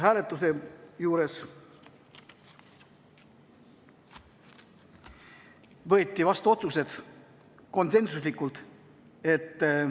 Hääletusel võeti otsused vastu konsensuslikult.